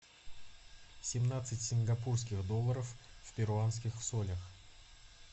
семнадцать сингапурских долларов в перуанских солях